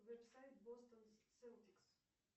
веб сайт бостон селтикс